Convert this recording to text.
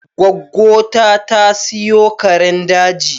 Gwaggo ta, ta siyo karen daji